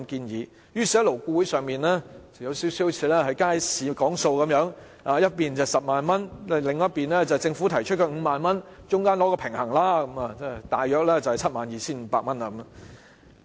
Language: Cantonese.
於是勞顧會就像街市議價般，一邊提出 100,000 元，另一邊政府提出 50,000 元，中間取個平衡便大約是 72,500 元。